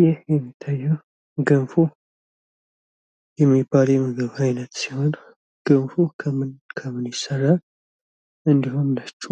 ይህ የሚታየው ገንፎ የሚባል የምግብ አይነት ሲሆን። ገንፎ ከምን ከምን ይሰራል? እንዲሁም ነጩ